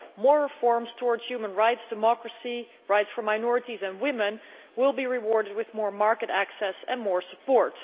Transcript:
More reforms towards human rights, democracy, rights for minorities and women will be rewarded with more market access and more support.